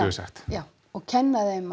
við sagt já og kenna þeim